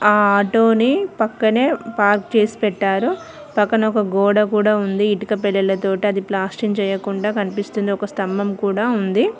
ఆ ఆటో ని పక్కనే పార్క్ చేసి పెట్టారు పక్కన ఒక గోడ కూడా ఉంది ఇటుక పెడల తోటి అది ప్లాస్టింగ్ చేయకుండా కనిపిస్తుంది ఒక స్తంభం కూడా ఉంది.